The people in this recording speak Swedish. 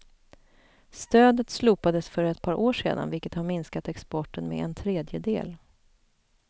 Stödet slopades för ett par år sedan vilket har minskat exporten med en tredjedel.